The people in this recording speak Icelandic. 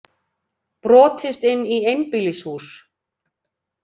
Brotist inn í einbýlishús